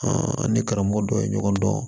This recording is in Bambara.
an ni karamɔgɔ dɔ ye ɲɔgɔn dɔn